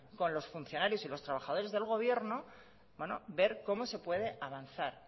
con los funcionarios y los trabajadores del gobierno ver cómo se puede avanzar